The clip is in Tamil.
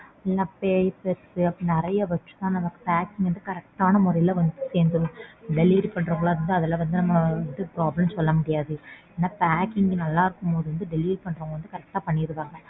நல்லா papers அப்புறம் நறைய வெச்சுதான் நமக்கு packing correct ஆன முறைல வந்து சேர்ந்துடும் delivery பண்றவங்கள வந்து நம்ம problem சொல்ல முடியாது. Packing நல்லா இருக்கும்போது வந்து delivery பண்றவங்க correct ஆ பண்ணிருவாங்க.